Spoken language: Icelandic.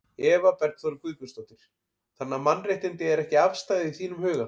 Eva Bergþóra Guðbergsdóttir: Þannig að mannréttindi eru ekki afstæð í þínum huga?